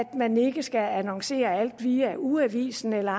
man ikke skal annoncere alt via ugeavisen eller